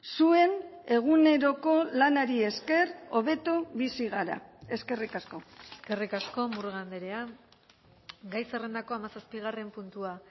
zuen eguneroko lanari esker hobeto bizi gara eskerrik asko eskerrik asko murga andrea gai zerrendako hamazazpigarren puntua